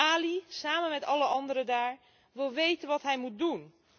Ali, samen met alle anderen daar, wil weten wat hij moet doen.